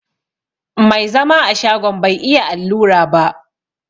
Mai zama a shagon bai iya allura ba.